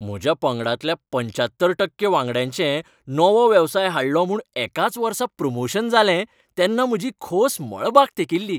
म्हज्या पंगडांतल्या पंच्यात्तर टक्के वांगड्यांचें नवो वेवसाय हाडलो म्हूण एकाच वर्सा प्रमोशन जालें तेन्ना म्हजी खोस मळबाक तेंकिल्ली.